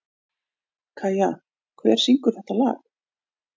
Kæja, hver syngur þetta lag?